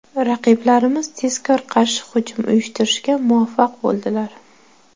Raqiblarimiz tezkor qarshi hujum uyushtirishga muvaffaq bo‘ldilar.